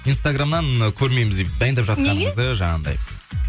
инстаграмнан көрмейміз дайындап жатқаныңызды жаңағындай